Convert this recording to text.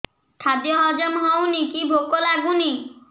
ଖାଦ୍ୟ ହଜମ ହଉନି କି ଭୋକ ଲାଗୁନି